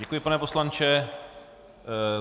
Děkuji, pane poslanče.